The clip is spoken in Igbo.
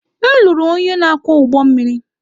M lụrụ onye na-akwọ ụgbọ mmiri.